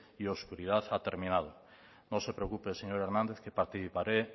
y oscuridad ha terminado no se preocupe señor hernández que participaré